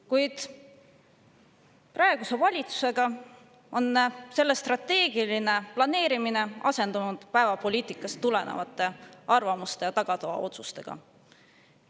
Kuid praeguse valitsuse puhul on selle strateegiline planeerimine asendunud päevapoliitikast tulenevate arvamuste ja tagatoaotsustega.